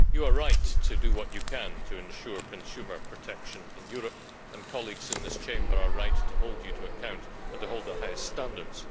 The Commissioner is right to do what she can to ensure consumer protection in Europe, and colleagues in this Chamber are right to hold her to account and to hold the highest standards.